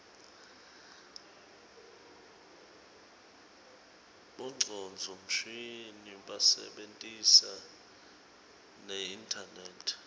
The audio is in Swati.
bongcondvo mshini basebentisa neinternet